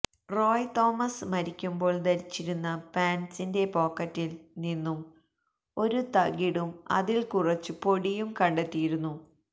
റോയ് തോമസ് മരിക്കുമ്പോള് ധരിച്ചിരുന്ന പാന്റ്സിന്റെ പോക്കറ്റില് നിന്നും ഒരു തകിടും അതില് കുറച്ച് പൊടിയും കണ്ടെത്തിയിരുന്നു